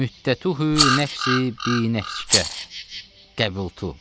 Müddətühü nəfsi binəfsikə, qəbiltu.